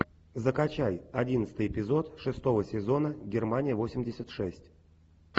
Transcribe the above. закачай одиннадцатый эпизод шестого сезона германия восемьдесят шесть